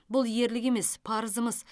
бұл ерлік емес парызымыз